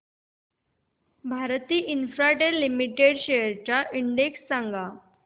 Bharti Infratel limited shares चा index सांगा